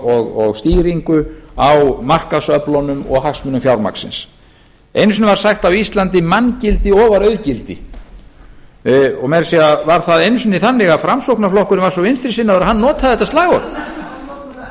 og stýringu á markaðsöflunum og hagsmunum fjármagnsins einu sinni var sagt á íslandi manngildi ofar auðgildi meira að segja var það einu sinni þannig að framsóknarflokkurinn var svo vinstri sinnaður að hann notaði þetta slagorð og notar það enn og